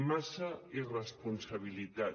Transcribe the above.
massa irresponsabilitat